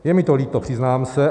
Je mi to líto, přiznám se.